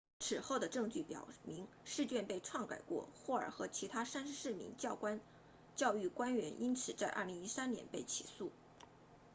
此后的证据表明试卷被篡改过霍尔 hall 和其他34名教育官员因此在2013年被起诉